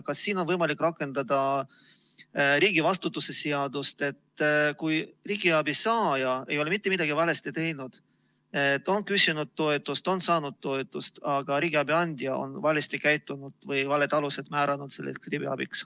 Kas siin on võimalik rakendada riigivastutuse seadust, kui riigiabi saaja ei ole mitte midagi valesti teinud, ta on küsinud toetust, ta on saanud toetust, aga riigiabi andja on valesti käitunud või määranud riigiabi valedel alustel?